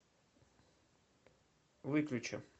выключи